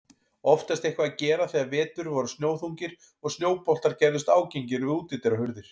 Oftast eitthvað að gera þegar vetur voru snjóþungir og snjóboltar gerðust ágengir við útidyrahurðir.